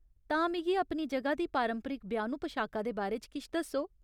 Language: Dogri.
तां, मिगी अपनी जगह दी पारंपरिक ब्याह्नू पशाका दे बारे च किश दस्सो।